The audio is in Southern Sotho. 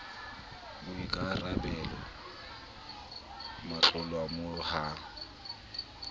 boikara belo ba motlolamolao ho